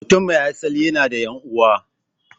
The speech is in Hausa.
Mutum mai asali yana da 'yan'uwa.